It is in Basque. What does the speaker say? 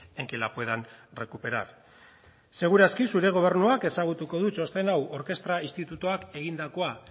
en que la puedan recuperar segur aski zure gobernuak ezagutuko du txosten hau orkestra institutuak egindakoa